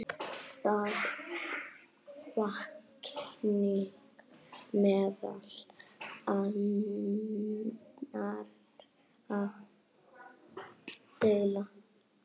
Það vakning meðal annarra deilda.